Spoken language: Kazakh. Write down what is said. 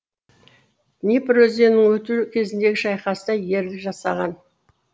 днепр өзенінен өту кезіндегі шайқаста ерлік жасаған